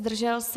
Zdržel se?